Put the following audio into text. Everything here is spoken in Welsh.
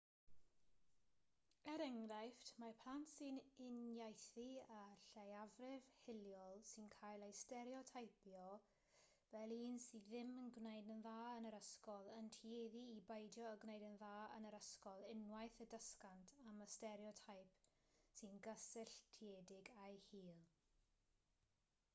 er enghraifft mae plant sy'n uniaethu â lleiafrif hiliol sy'n cael ei stereoteipio fel un sydd ddim yn gwneud yn dda yn yr ysgol yn tueddu i beidio â gwneud yn dda yn yr ysgol unwaith y dysgant am y stereoteip sy'n gysylltiedig â'u hil